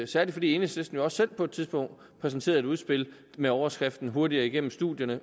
særlig fordi enhedslisten jo også selv på et tidspunkt præsenterede et udspil med overskriften hurtigere igennem